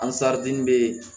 be